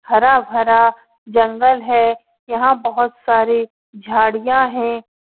हरा-भरा जंगल है। यहाँ बोहोत सारी झाड़ियां है।